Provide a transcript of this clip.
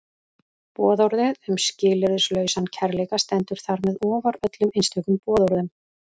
Boðorðið um skilyrðislausan kærleika stendur þar með ofar öllum einstökum boðorðum.